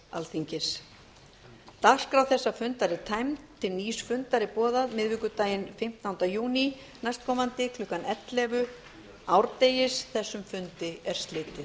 alþingis dagskrá þessa fundar er tæmd til nýs fundar er boðað miðvikudaginn fimmtánda júní næstkomandi klukkan ellefu árdegis þessum fundi er slitið